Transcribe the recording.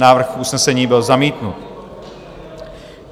Návrh usnesení byl zamítnut.